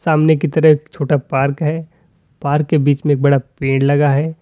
सामने कितने छोटा पार्क है पार्क के बीच में एक बड़ा पेड़ लगा है।